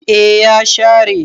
eh ya share